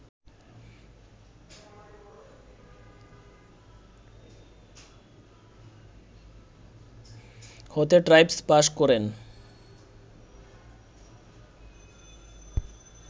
হতে tripos pass করেন